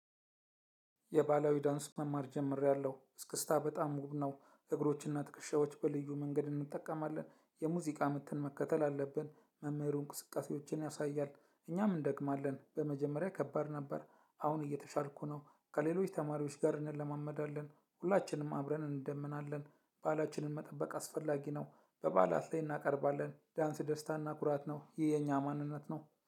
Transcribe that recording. የባላዊ ዳንስ መማር ጀምሬያለው እስክስታ በጣም ውብ ነው እግሮችና ትክሻዎች በልዩ መንገድ እንጠቀማለን። የሙዚቃ ምትን መከተል አለብን መምህሩ እንቅስቃሴዎችን ያሳያል። እኛም እንደግማለን በመጀመሪያ ከባድ ነበር። አሁን እየተሻልኩ ነው። ከሌሎች ተማሪዎች ጋር እንለማመዳለን ሁላችንም አብረን እንደምናለን። ባላችንን መጠበቅ አስፈላጊ ነው። በባላት ላይ እናቀርባለን ዳንስ ደስታ እና ኩራት ነው ይህ የኛ ማንነት ነው